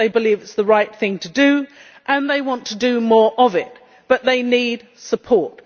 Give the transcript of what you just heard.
They believe it is the right thing to do, and they want to do more of it, but they need support.